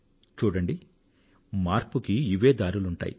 చూడండి మార్పునకు ఇవే దారులుంటాయి